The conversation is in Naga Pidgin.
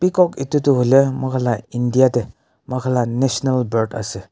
Picoack etu toh hoile moikhan la India tey moikhan la national bird ase.